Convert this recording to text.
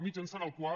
mitjançant el qual